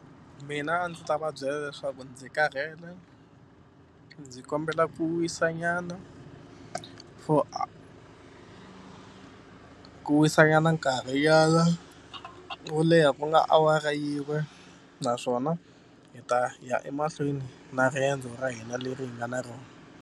Mina a ndzi ta va byela leswaku ndzi karhele ndzi kombela ku wisanyana for ku wisanyana nkarhinyana wo leha ku nga awara yin'we naswona hi ta ya emahlweni na riendzo ra hina leri hi nga na rona.